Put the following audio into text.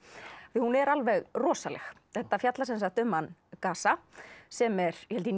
því hún er alveg rosaleg þetta fjallar um hann Gaza sem er held ég